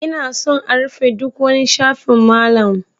Ina son a rufe ɗuk wani shafin Malam.